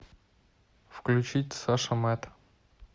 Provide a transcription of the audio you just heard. включить саша мэд